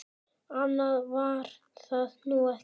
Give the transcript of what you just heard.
Annað var það nú ekki.